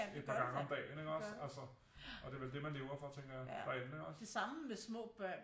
Et par gange om det ikke også altså og det er vel det man lever for tænker jeg og andet ikke også